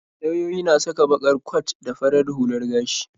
Lauyoyi na saka baƙar kwat da farar hular gashi.